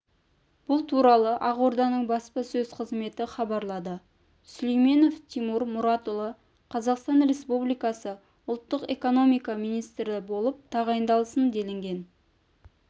бұл туралы ақорданың баспасөз-қызметі хабарлады сүлейменов тимур мұратұлы қазақстан республикасы ұлттық экономика министрі болып тағайындалсын делінген